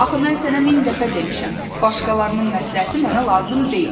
Axı mən sənə min dəfə demişəm, başqalarının məsləhəti mənə lazım deyil.